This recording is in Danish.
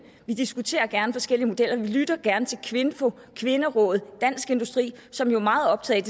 vi diskuterer gerne forskellige modeller vi lytter gerne til kvinfo kvinderådet og dansk industri som jo er meget optaget